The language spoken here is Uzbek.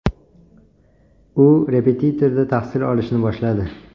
U repetitorda tahsil olishni boshladi.